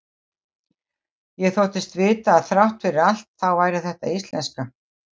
Ég þóttist vita að þrátt fyrir allt þá væri þetta íslenska.